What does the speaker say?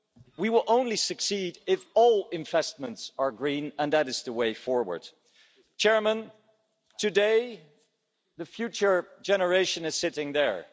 We will only succeed if all investments are green and that is the way forward. Today, the future generation is sitting there.